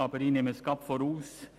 Ich nehme es vorweg: